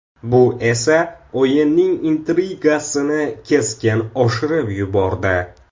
Bu esa o‘yinning intrigasini keskin oshirib yubordi.